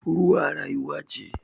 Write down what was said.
Ruwa rayuwa ce